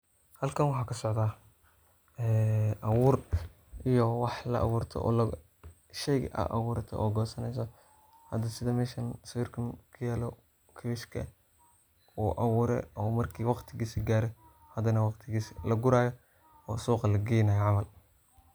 halkan waxaa ka socda ee abuur iyo wax la abuurto iyo shey a abuurto oo gosaneyso hada sida meshan sawirkan kuyalo kabishka wu abuure oo markii waqtigisa gaaro hadan waqtigiisa la guraayo oo suuqa lageynayo camal